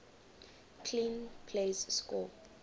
clean plays score